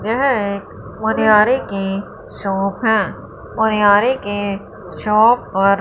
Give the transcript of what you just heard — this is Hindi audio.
यह एक मनिहारी की शॉप है मनिहारी के शॉप पर--